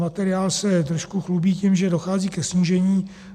Materiál se trošku chlubí tím, že dochází ke snížení.